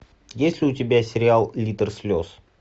есть ли у тебя сериал литр слез